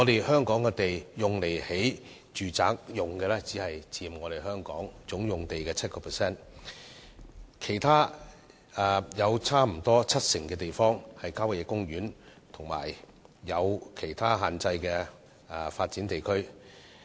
香港供興建住宅的土地面積只佔全港總用地的 7%， 其餘接近七成土地被列為郊野公園，以及受限制的發展地區。